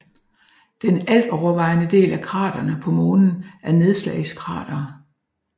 Den altovervejende del af kraterne på Månen er nedslagskratere